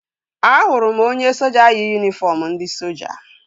Ahụrụ m onye soja yi yunifọm ndị soja